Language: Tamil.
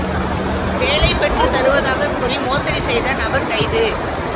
வேலை பெற்றுத் தருவதாகக் கூறி மோசடி செய்த நபர் கைது